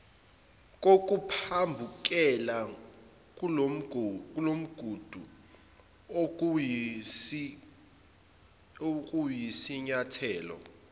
kokuphambukela kulomgudu okuyisinyathelo